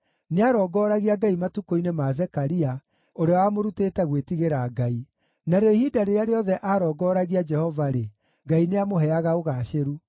Nĩarongooragia Ngai matukũ-inĩ ma Zekaria, ũrĩa wamũrutĩte gwĩtigĩra Ngai. Narĩo ihinda rĩrĩa rĩothe aarongoragia Jehova-rĩ, Ngai nĩamũheaga ũgaacĩru.